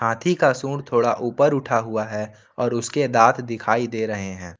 हाथी का सूंड़ थोड़ा ऊपर उठा हुआ है और उसके दांत दिखाई दे रहे हैं।